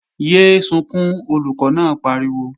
Yé é sunkún, Olùkọ́ náà pariwo!